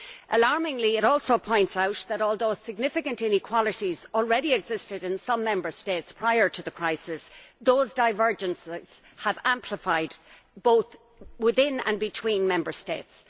Alarmingly, it also points out that, although significant inequalities already existed in some Member States prior to the crisis, those divergences have amplified both within and between Member States.